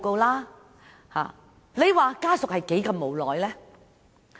你們看看，家屬是何等的無奈。